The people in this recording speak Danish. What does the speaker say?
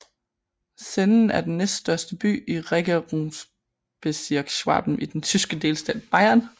Senden er den næststørste by i Regierungsbezirk Schwaben i den tyske delstat Bayern